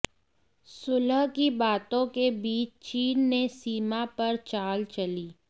सुलह की बातों के बीच चीन ने सीमा पर चाल चली